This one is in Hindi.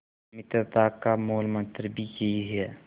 मित्रता का मूलमंत्र भी यही है